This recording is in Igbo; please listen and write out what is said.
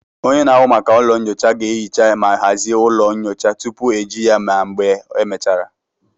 Onye na-ahụ maka ụlọ nyocha ga-ehicha ma hazie ụlọ nyocha tupu eji ya ma mgbe e mechara